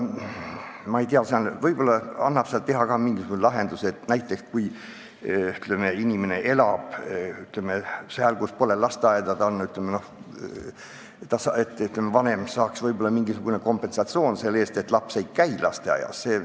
Ma ei tea, võib-olla annab teha mingi lahenduse, et kui inimene elab kohas, kus pole lasteaeda, siis vanem saaks mingisugust kompensatsiooni selle eest, et laps ei käi lasteaias.